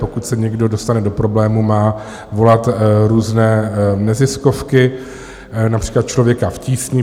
Pokud se někdo dostane do problémů, má volat různé neziskovky, například Člověka v tísni.